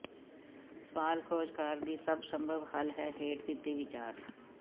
ਸਵਾਲ ਖੋਜਕਾਰ ਦੀ ਸਭ ਸੰਭਵ ਹੱਲ ਹੈ ਹੇਠ ਦਿੱਤੀ ਵਿਚਾਰ